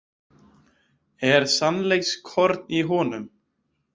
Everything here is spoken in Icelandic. En sannleikskorn í honum?